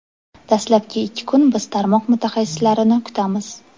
Dastlabki ikki kun biz tarmoq mutaxassislarini kutamiz.